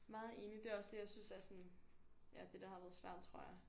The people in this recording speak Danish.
Meget enig det er også det jeg synes er sådan ja det der har været svært tror jeg